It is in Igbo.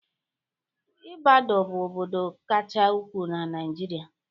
Ibador bụ obodo kacha ukwuu na Naịjirịa.